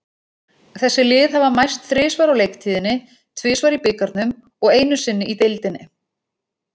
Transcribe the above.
Þessi lið hafa mæst þrisvar á leiktíðinni, tvisvar í bikarnum og einu sinni í deildinni.